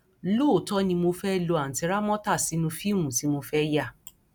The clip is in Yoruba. lóòótọ ni mo fẹẹ lo àùntì ramota sínú fíìmù tí mo fẹẹ yà